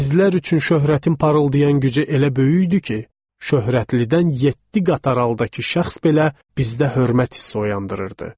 Bizlər üçün şöhrətin parıldayan gücü elə böyük idi ki, şöhrətlidən yeddi qataraldakı şəxs belə bizdə hörmət hissi oyandırırdı.